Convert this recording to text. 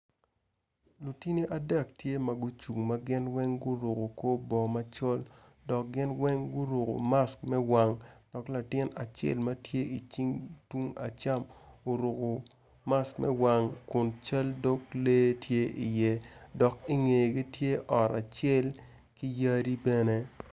Lutini adek tye ma gucung ma gin weng guruko korbongo macol dok gin weng guruko mask me wang dok latin acel ma tye icing tung acam oruko mask me wang kun cal dog lee tye iye dok ingegi tye ot acel ki yadi bene.